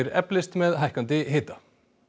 eflist með hækkandi hita